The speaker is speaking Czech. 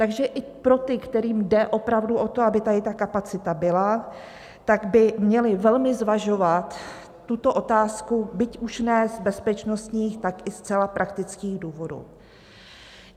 Takže i pro ty, kterým jde opravdu o to, aby tady ta kapacita byla, tak by měli velmi zvažovat tuto otázku, byť už ne z bezpečnostních, tak i zcela praktických důvodů.